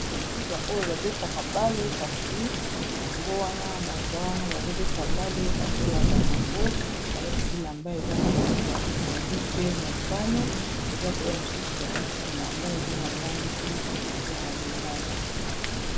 Ba oyo babetaka bale kasi yango wana baza wana bazobeta bale bazolanda bango, balati bilamba eza na langi ya pondu pe motane, eza pema mosusu balati bilamba eza na langi ya lilala.